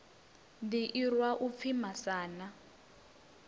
ḓi irwa u pfi masana